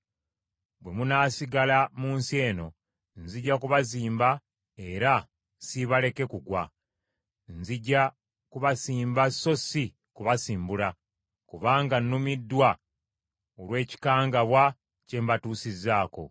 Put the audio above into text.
‘Bwe munaasigala mu nsi eno, nzija kubazimba era siibaleke kugwa. Nzija kubasimba so si kubasimbula, kubanga nnumiddwa olw’ekikangabwa kye mbatuusizzaako.